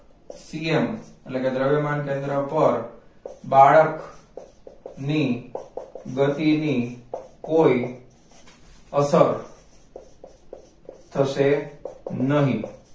c m એટલે કે દ્રવ્યમાન કેન્દ્ર પર બાળક ની ગતિ ની કોઈ અસર થશે નહીં